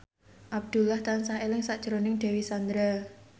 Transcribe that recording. Abdullah tansah eling sakjroning Dewi Sandra